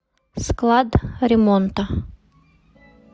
склад ремонта